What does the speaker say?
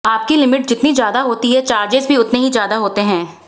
आपकी लिमिट जितनी ज्यादा होती है चार्जेस भी उतने ही ज्यादा होते हैं